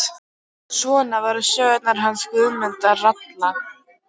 Svona voru nú sögurnar hans Guðmundar ralla.